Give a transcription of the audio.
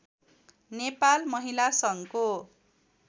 नेपाल महिला सङ्घको